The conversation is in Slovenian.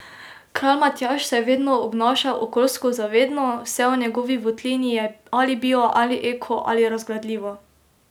Kralj Matjaž se je vedno obnašal okoljsko zavedno, vse v njegovi votlini je ali bio ali eko ali razgradljivo.